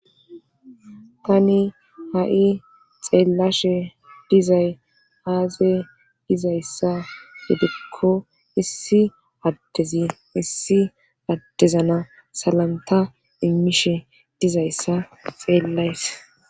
Tani ha'i xeellashe dizay aaze izayssa hidikko issi addezi issi addezana salamta immishe dizayssa xeellays.